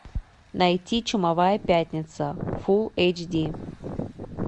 найти чумовая пятница фул эйч ди